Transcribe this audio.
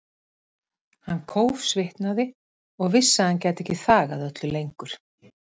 Hann kófsvitnaði og vissi að hann gæti ekki þagað öllu lengur.